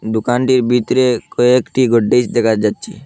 দুকানটির বিতরে কয়েকটি দেখা যাচ্ছে।